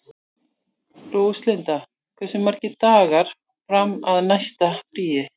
Róslinda, hversu margir dagar fram að næsta fríi?